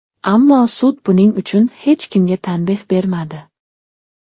Ammo sud buning uchun hech kimga tanbeh bermadi”.